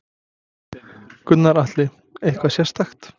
Gunnar Atli: Eitthvað sérstakt?